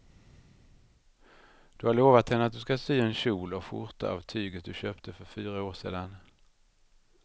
Du har lovat henne att du ska sy en kjol och skjorta av tyget du köpte för fyra år sedan.